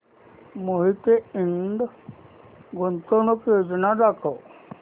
मोहिते इंड गुंतवणूक योजना दाखव